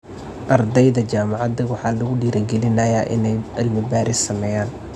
Ardayda jaamacadda waxaa lagu dhiirigelinayaa inay cilmi-baaris sameeyaan.